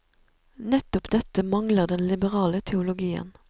Nettopp dette mangler den liberale teologien.